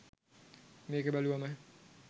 මේක බැලුවම